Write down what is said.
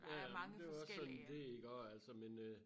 Ja ja men det jo også sådan det iggå altså men øh